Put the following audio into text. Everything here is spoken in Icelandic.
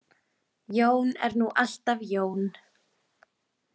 Jón er nú alltaf Jón.